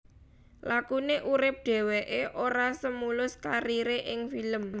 Lakune urip dheweke ora semulus karire ing film